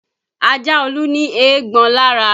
Ajá Olú ní eégbọn lára